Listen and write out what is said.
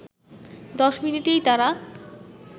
দশ মিনিটেই তারা